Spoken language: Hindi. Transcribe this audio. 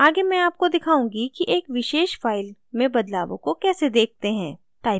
आगे मैं आपको दिखाउंगी कि एक विशेष फाइल में बदलावों को कैसे देखते हैं